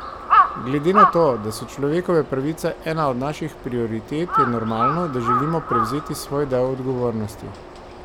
Glede na to, da so človekove pravice ena od naših prioritet, je normalno, da želimo prevzeti svoj del odgovornosti.